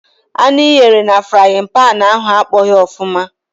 Anụ i ghere na frayịn panị ahụ akpọghị ọfụma.